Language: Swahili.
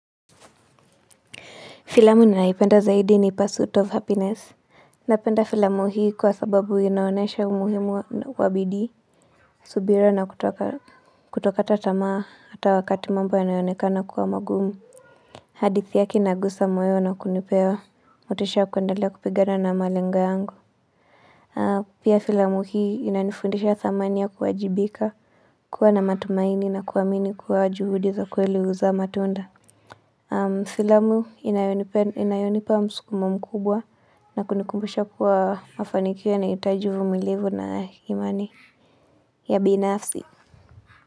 Filamu ninayoipenda zaidi ni pursuit of happiness. Napenda filamu hii kwa sababu inaonesha umuhimu wa bidii. Subira na kutokata tamaa hata wakati mambo inayoonekana kuwa magumu. Hadithi yake inagusa moyo na kunipea. Motisha ya kuendelea kupigana na malengo yangu. Pia filamu hii ina nifundisha thamani ya kuwajibika. Kuwa na matumaini na kuamini kuwa juhudi za kweli huzaa matunda. Filamu inayonipa msukumo mkubwa. Na kunikumbisha kuwa mafanikio yanahitaji uvumilivu na imani ya binafsi.